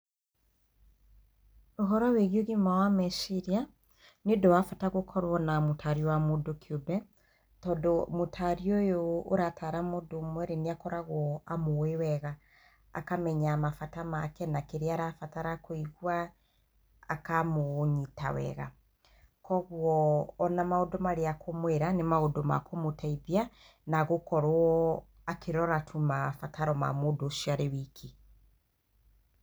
Ũhoro wĩ giĩ ũgima wa meciria, nĩũndũ wa bata gũkorwo na mũtari wa mũndũ kĩũmbe. Tondũ mũtari ũyũ ũratara mũndũ ũmwe rĩ, nĩ akoragwo amũĩ wega. Akamenya mabata make, na kĩrĩa arabatara kũigwa, akamũnyita wega. Kũoguo, ona maũndũ marĩa ekũmwĩra nĩ maũndũ ma kũmũteithia na agũkorwo akĩrora tu mabataro ma mũndũ ũcio arĩ wiki.